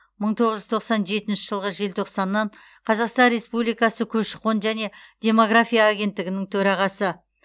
мың тоғыз жүз тоқсан жетінші жылғы желтоқсаннан қазақстан республикасы көші қон және демография агенттігінің төрағасы